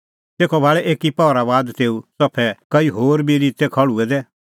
तेखअ भाल़ै एकी पहरा बाद तेऊ च़फै कई होर बी रित्तै खल़्हुऐ दै